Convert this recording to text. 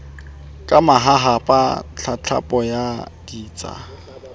ka mahahapa tlatlapo ya ditsha